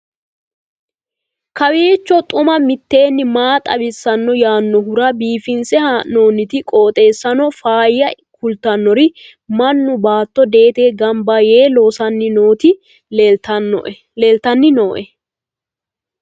kowiicho xuma mtini maa xawissanno yaannohura biifinse haa'noonniti qooxeessano faayya kultannori mannu baatto deetenni gamba yee loosanni nooti leeltanni nooe